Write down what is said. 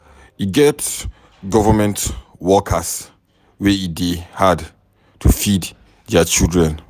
E get government workers wey e dey hard to feed their children.